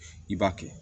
I b'a kɛ